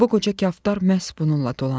Bu qoca kaftar məhz bununla dolanır.